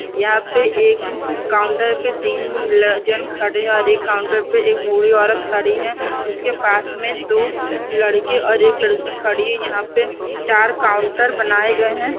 यहाँ पे एक काउंटर पे तीन ल-जन खड़े है और एक काउंटर पे एक बूढी औरत खड़ी है उसके पास में दो लड़के और एक लड़की खड़ी है यहाँ पे चार काउंटर बनाए गए हैं।